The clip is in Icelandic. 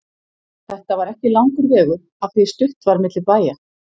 Þetta var ekki langur vegur af því stutt var á milli bæja.